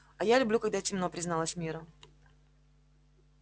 а я люблю когда темно призналась мирра